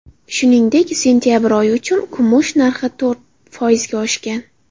Shuningdek, sentabr oyi uchun kumush narxi to‘rt foizga oshgan.